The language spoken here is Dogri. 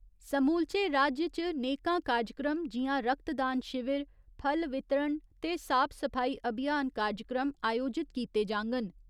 समूलचे राज्य च नेकां कार्जक्रम जियां रक्त दान शिविर, फल वितरण ते साफ सफाई अभियान कार्जक्रम आयोजत कीते जांङन।